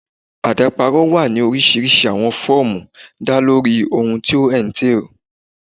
Adaparọ wa ni orisirisi awọn fọọmu da lori ohun ti o entails